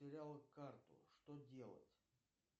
потерял карту что делать